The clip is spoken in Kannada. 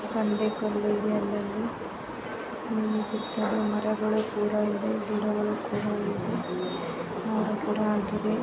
ಬಂಡೆ ಕಲ್ಲು ಇದೆ ಅಲ್ಲಲ್ಲಿ ಉಹ್ ಸುತ್ತಲು ಮರಗಳು ಕೂಡ ಇದೆ ಗಿಡಗಳು ಕೂಡ ಇದೆ ನೋಡಕ್ಕೆ ‌.